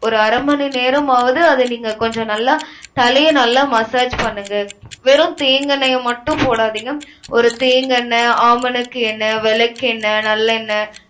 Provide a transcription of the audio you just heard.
ஒரு அரை மணி நேரமாவது அத நீங்க கொஞ்சம் நல்லா தலையை நல்லா massage பண்ணுங்க. வெறும் தேங்காய் எண்ணெய மட்டும் போடாதீங்க. ஒரு தேங்காய் எண்ணெய், ஆமணக்கு எண்ணெய், விளக்கெண்ணெய், நல்லெண்ணெய்